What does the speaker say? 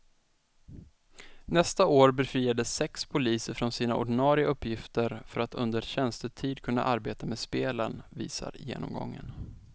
Nästa år befriades sex poliser från sina ordinarie uppgifter för att under tjänstetid kunna arbeta med spelen, visar genomgången.